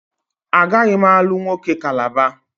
Agaghị m alụ nwoke Calabar